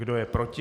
Kdo je proti?